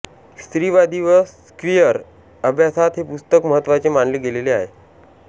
स्त्रीवादी व क्वियर अभ्यासात हे पुस्तक महत्त्वाचे मानले गेलेले आहे